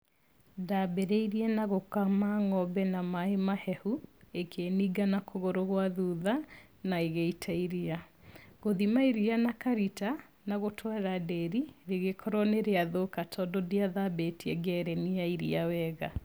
Ndambĩrĩirie na gũkama ng'ombe na maaĩ mahehu, ĩkĩninga na kũgũrũ gwa thutha na ĩgĩita iria. Gũthima iria na karita na gũtwara ndĩri rĩgĩkorwo nĩrĩathũka, tondũ ndiathambĩtie ngereni ya iria wega.